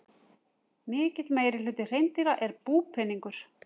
Mikill meirihluti hreindýra er búpeningur.